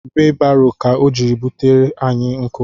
Weebaro ka ọ jiri butere anyị nkụ